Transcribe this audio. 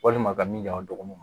Walima ka min jɔ a dɔgɔkun kɔnɔ